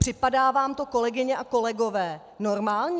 Připadá vám to, kolegyně a kolegové, normální?